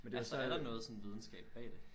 Altså er der noget sådan videnskab bag det?